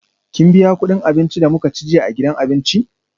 Kin biya kudin abincin da muka ci jiya a gidan abinci?